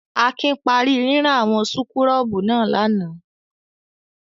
Akin parí rírán àwọn súkúrọ́bù náà lánàá.